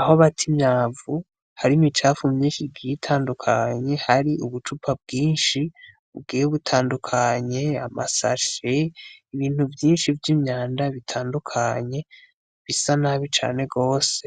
Aho bata imyavu hari imicafu myinshi igiye itandukanye hari ubucupa bwinshi bugiye butandukanye amasashe ibintu vyinshi vy'imyanda bitandukanye bisa nabi cane gose